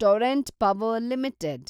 Torrent Power limited